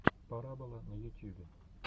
порабола на ютьюбе